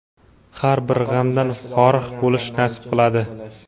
har bir g‘amdan forig‘ bo‘lishni nasib qiladi.